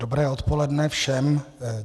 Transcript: Dobré odpoledne všem.